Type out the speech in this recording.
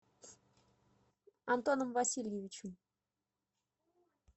антоном васильевичем